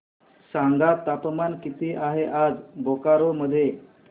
सांगा तापमान किती आहे आज बोकारो मध्ये